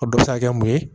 A bɛ se ka kɛ mun ye